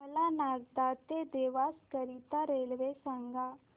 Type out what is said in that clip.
मला नागदा ते देवास करीता रेल्वे सांगा